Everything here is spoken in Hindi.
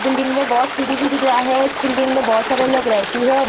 बिल्डिंग में बहुत सीढ़ी भी दिख रहा है इस बिल्डिंग में बहुत सारे लोग रहते हैं।